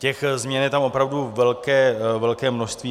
Těch změn je tam opravdu velké množství.